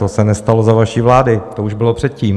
To se nestalo za vaší vlády, to už bylo předtím.